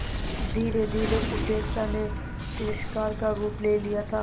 धीरेधीरे उपेक्षा ने तिरस्कार का रूप ले लिया था